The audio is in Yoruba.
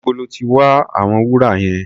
Níbo lọ́ ti wa àwọn wúrà yẹn?